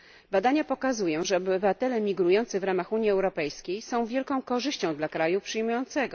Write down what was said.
Badania pokazują, że obywatele migrujący w ramach Unii Europejskiej są wielką korzyścią dla kraju przyjmującego.